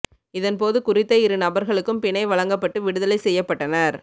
இதன் போது குறித்த இரு நபர்களுக்கும் பிணை வழங்கப்பட்டு விடுதலை செய்யப்பட்டனர்